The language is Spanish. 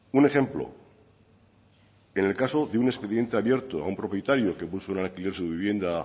un ejemplo en el caso de un expediente abierto a un propietario que puso en alquiler su vivienda